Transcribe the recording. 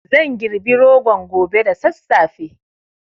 Zan girbi rogon gobe da sassafe